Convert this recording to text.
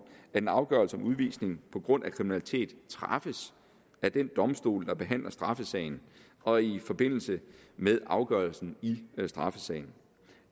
at en afgørelse om udvisning på grund af kriminalitet træffes af den domstol der behandler straffesagen og i forbindelse med afgørelsen i straffesagen